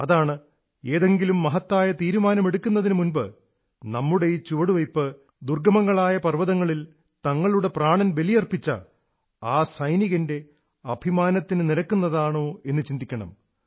അതാണ് ഏതെങ്കിലും മഹത്തായ തീരുമാനമെടുക്കുന്നതിനു മുമ്പ് നമ്മുടെ ഈ ചുവടുവയ്പ്പ് ദുർഗ്ഗമങ്ങളായ പർവ്വതങ്ങളിൽ തങ്ങളുടെ പ്രാണൻ ബലിയർപ്പിച്ച ആ സൈനികന്റെ അഭിമാനത്തിനു നിരക്കുന്നതാണോ എന്നു ചിന്തിക്കണം